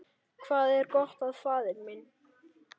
Hvað er gott, faðir minn?